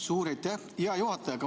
Suur aitäh, hea juhataja!